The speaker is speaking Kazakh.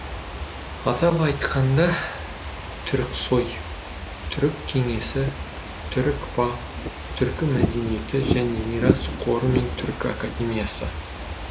атап айтқанда түріксои түрік кеңесі түрікпа түркі мәдениеті және мирас қоры мен түркі академиясы